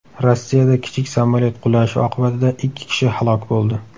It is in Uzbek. Rossiyada kichik samolyot qulashi oqibatida ikki kishi halok bo‘ldi.